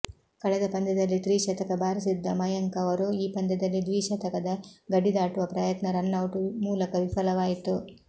ಕಳೆದ ಪಂದ್ಯದಲ್ಲಿ ತ್ರಿಶತಕ ಭಾರಿಸಿದ್ದ ಮಯಂಕ್ ಅವರು ಈ ಪಂದ್ಯದಲ್ಲಿ ದ್ವಿಶತಕದ ಗಡಿದಾಟುವ ಪ್ರಯತ್ನ ರನ್ನೌಟ್ ಮೂಲಕ ವಿಫಲವಾಯಿತು